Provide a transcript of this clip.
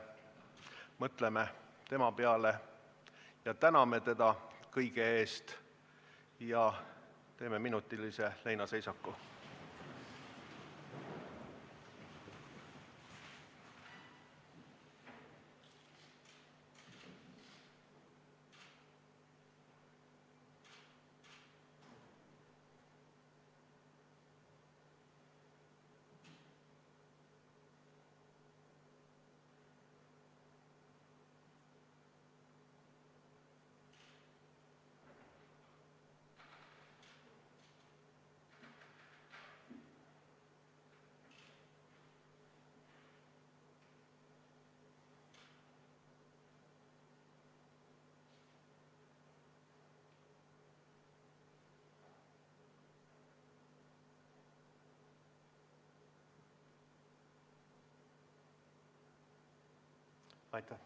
Mõtleme tema peale ja täname teda kõige eest ja teeme minutilise leinaseisaku!